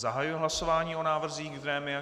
Zahajuji hlasování o návrzích z grémia.